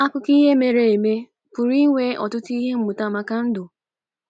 Akụkọ ihe mere eme pụrụ inwe ọtụtụ ihe mmụta maka ndụ.